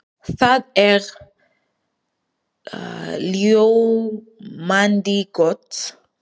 Það er ljómandi gott!